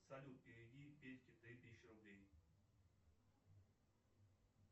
салют переведи петьке три тысячи рублей